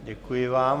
Děkuji vám.